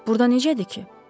Burda necədir ki?